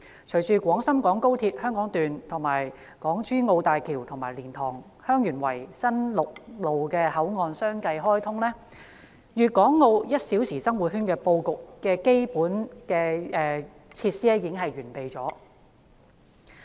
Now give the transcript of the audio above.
隨着廣深港高鐵香港段、港珠澳大橋和蓮塘/香園圍新陸路口岸相繼開通，粵港澳'一小時生活圈'的布局已基本完備。